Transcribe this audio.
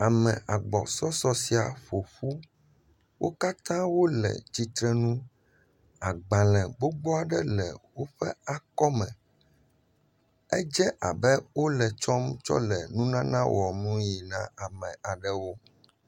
Ame agbɔsɔsɔ sia ƒoƒu, wo katã wole tsitrenu, agbalẽ gbogbo aɖewo le woƒe akɔme, edze abe wole tsɔm tsɔ le nunana wɔmii na ame aɖewo.